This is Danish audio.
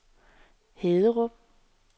Haderup